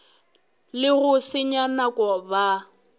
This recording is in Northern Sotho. le go senya nako ba